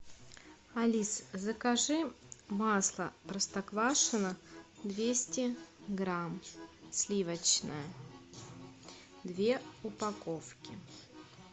алис закажи масло простоквашино двести грамм сливочное две упаковки